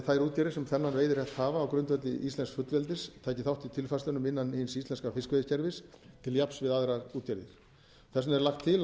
að þær útgerðir sem þennan veiðirétt hafa á grundvelli íslensks fullveldis taki þátt í tilfærslunum innan hins íslenska fiskveiðikerfis til jafns við aðrar útgerðir þess vegna er lagt